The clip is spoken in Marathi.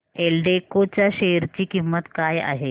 एल्डेको च्या शेअर ची किंमत काय आहे